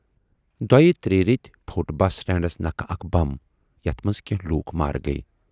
دۅیہِ تریہِ رٮ۪تۍ پھوٹ بس سٹینڈس نکھٕ اکھ بم، یتَھ منز کینہہ لوٗکھ مارٕ گٔیہِ۔